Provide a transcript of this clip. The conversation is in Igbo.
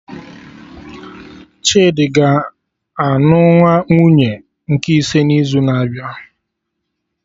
Chidi ga anụ nwunye nke ise n'izu na-abịa